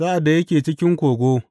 Sa’ad da yake cikin kogo.